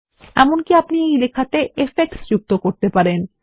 এমনকি আপনি এই লেখাতে ইফেক্টস যুক্ত করতে পারেন